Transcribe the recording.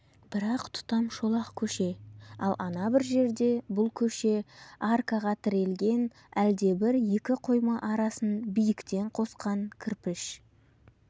бір-ақ тұтам шолақ көше ал ана бір жерде бұл көше аркаға тірелген әлдебір екі қойма арасын биіктен қосқан кірпіш